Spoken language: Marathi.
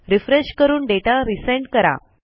रिफ्रेश करून दाता रिझेंड करा